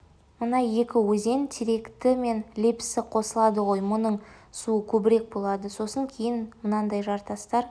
мына екі өзен теректі мен лепсі қосылады ғой мұның суы көбірек болады сосын кейін мынандай жартастар